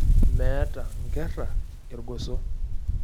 Meeta nkerra irgoso.